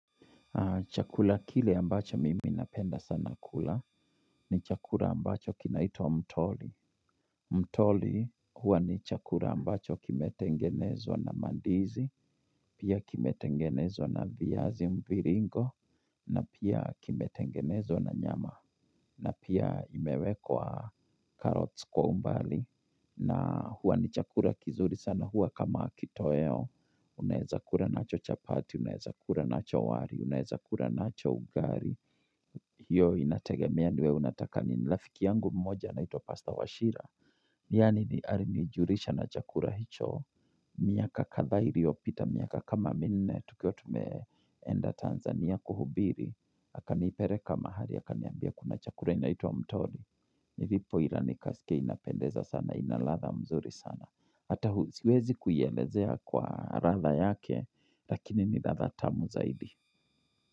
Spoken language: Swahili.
Chakula kile ambacho mimi napenda sana kula ni chakula ambacho kinaitwa mtoli. Mtoli huwa ni chakula ambacho kimetengenezwa na mandizi, pia kimetengenezwa na viazi mviringo, na pia kimetengenezwa na nyama, na pia imewekwa carrots kwa umbali. Na huwa ni chakula kizuri sana huwa kama kitoweo Unaweza kula nacho chapati, unaweza kula nacho wali, unaweza kula nacho ugali hiyo inategemea ni wewe unataka nini. Rafiki yangu mmoja anaitwa Pastor Wachira Ye ni alinijulisha na chakula hicho miaka kadhaa iliyopita miaka kama minne tukiwa tumeenda Tanzania kuhubiri, akanipeleka mahali, akaniambia kuna chakula inaitwa mtoli. Nilipo ila nikasikia inapendeza sana, ina ladha mzuri sana. Hata siwezi kuielezea kwa ladha yake lakini ni ladha tamu zaidi.